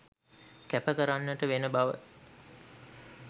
කැප කරන්නට වෙන බව